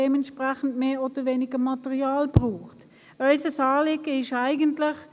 dementsprechend mehr oder weniger Material benötigen wir.